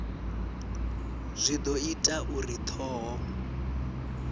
zwi do ita uri thoho